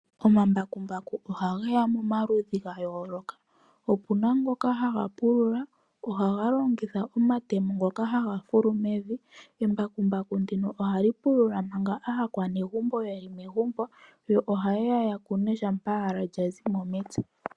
Omambakumbaku ohageya momaludhi ga yooloka . Opuna ngoka haga pulula. Ohaga longitha omatemo ngoka haga fulu mevi. Embakumbaku ndino ohali pulula manga aakwanegumbo yeli megumbo yo oha yeya yakune shampa lyazimo mepya.